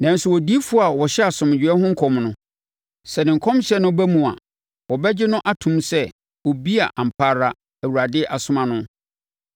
Nanso odiyifoɔ a ɔhyɛ asomdwoeɛ ho nkɔm no, sɛ ne nkɔmhyɛ no ba mu a wɔbɛgye no atom sɛ obi a ampa ara Awurade asoma no.”